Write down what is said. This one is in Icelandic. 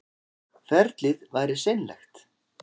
Ferlið væri seinlegt